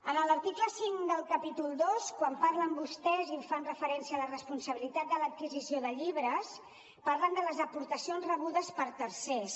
en l’article cinc del capítol ii quan fan referència a la responsabilitat de l’adquisició de llibres parlen de les aportacions rebudes per tercers